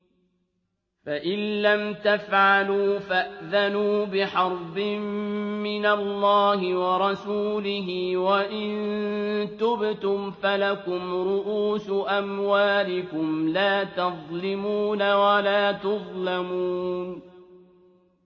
فَإِن لَّمْ تَفْعَلُوا فَأْذَنُوا بِحَرْبٍ مِّنَ اللَّهِ وَرَسُولِهِ ۖ وَإِن تُبْتُمْ فَلَكُمْ رُءُوسُ أَمْوَالِكُمْ لَا تَظْلِمُونَ وَلَا تُظْلَمُونَ